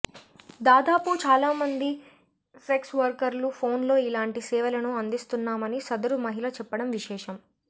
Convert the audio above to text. దాదాపు చాలా మంది సెక్స్ వర్కర్లు ఫోన్లో ఇలాంటి సేవలను అందిస్తున్నామని సదరు మహిళ చెప్పడం విశేషం